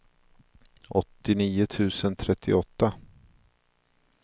åttionio tusen trettioåtta